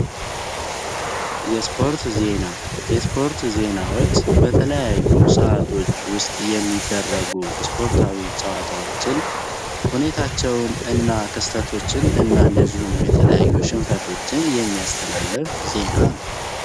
የስፖርት ዜና የስፖርት ዜናዎች በተለያዩ ሰዓቶች ውስጥ የሚደረጉ ስፖርታዊ ጨዋታዎችን ሁኔታቸውን እና ክስተቶችን እናንደዚሁም የተለያዩ ሽንፈቶችን የሚያስተላለፍ ዜና ነው።